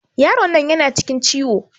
Yaron nan yana cikin ciwo.